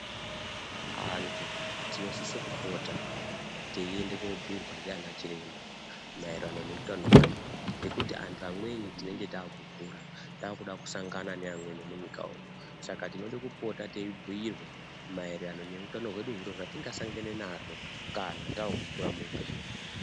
Antu tinosise kupota teiende koobhiirwa ndiana chiremba maererano neutano hwedu ngekuti antu amweni tinenge taakukura, taakuda kusangana neamweni munyika umu saka tinode kupota teibhiirwa maererano nehutano hwedu zviro zvatingasangana nazvo kana taakukura muupenyu.